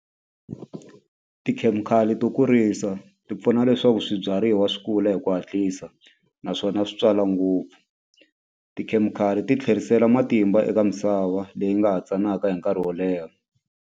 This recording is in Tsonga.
Tikhemikhali to kurisa ti pfuna leswaku swibyariwa swi kula hi ku hatlisa naswona swi twala ngopfu tikhemikhali ti tlherisela matimba eka misava leyi nga ha tsanaka hi nkarhi wo leha.